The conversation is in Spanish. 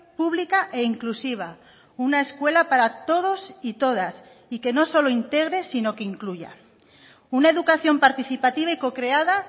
pública e inclusiva una escuela para todos y todas y que no solo integre sino que incluya una educación participativa y co creada